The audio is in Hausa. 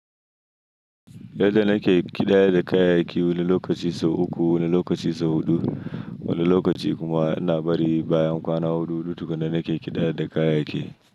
Lallai nake ƙidayadda kayayyaki wani lokaci sau uku, wani lokaci sau huɗu. Wani lokaci kuma ina bari bayan kwana huɗu hudu tukunna nake ƙidayadda kayayyaki.